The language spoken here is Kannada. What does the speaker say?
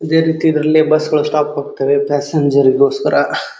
ಇದೆ ರೀತಿ ಇದ್ರಲ್ಲಿ ಬಸ್ಸ್ಗಳ ಸ್ಟಾಪ್ ಹೋಗತ್ತೆವೆ ಪ್ಯಾಸೆಂಜರಿಗೋಸ್ಕರ --